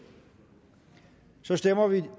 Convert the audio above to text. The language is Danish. så stemmer vi